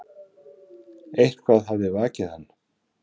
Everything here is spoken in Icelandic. Eitthvað hafði vakið hann.